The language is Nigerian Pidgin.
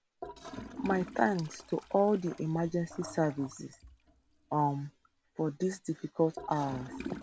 my thanks to all di emergency services um for dis difficult hours